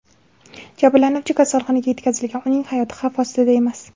Jabrlanuvchi kasalxonaga yetkazilgan, uning hayoti xavf ostida emas.